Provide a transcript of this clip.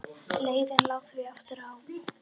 Leiðin lá því aftur á